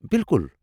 بِالكُل ۔